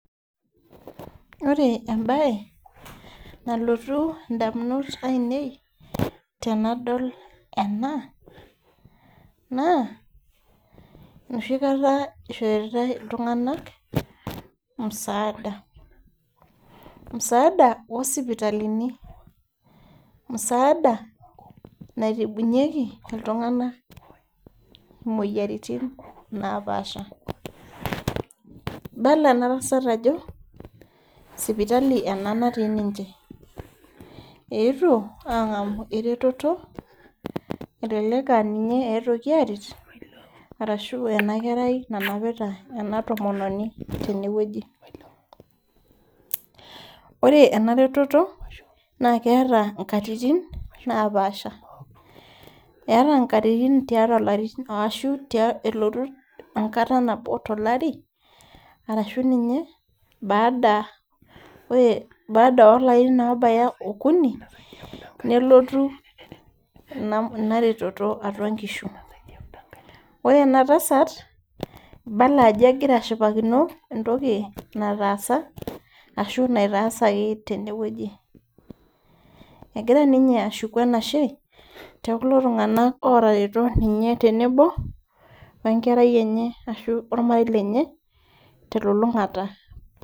Ore embaye nalotu indamunot ainei tenadol ena naa enoshi kata ishoritae iltung'anak msaada, msaada osipitalini msaada naitibunyieki iltung'ana imoyiaritin napaasha ibala ena tasat ajo sipitali ena natii ninche eetuo ang'amu eretoto elelek aninye etuoki aret arashu ena kerai nanapita ena tomononi tenewueji ore ena retoto naa keeta inkatitin napaasha eeta inkatitin tiatua ilarin aashu elotu enkata nabo tolari arashu ninye baada ore ore baada olarin obaya okuni nelotu ina retoto atua inkishu ore ena tasat ibala ajo egira ashipakino entoki nataasa ashu naitasaki tenewueji egira ninye ashuku enashe teokulo tung'anak otareto ninye tenebo wenkerai enye ashu ormarei lenye telulung'ata.